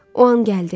O an gəldi.